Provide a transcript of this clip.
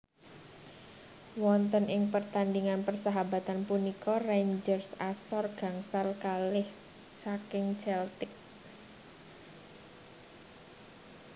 Wonten ing pertandingan persahabatan punika Rangers asor gangsal kalih saking Celtic